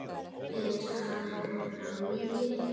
Er hann enn á lífi?